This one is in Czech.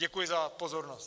Děkuji za pozornost.